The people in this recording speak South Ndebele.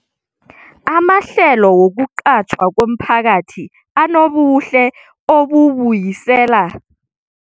Amahlelo wokuqatjhwa komphakathi anobuhle obubuyisela umphakathi ngoba avula imisebenzi esiza umuntu woke.